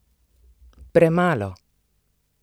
Premalo!